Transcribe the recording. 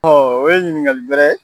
o ye ɲiniŋali bɛrɛ